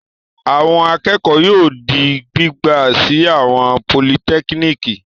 Àwọn akẹ́kọ̀ọ́ yóò di gbígbà sí àwọn politẹ́kíníkì.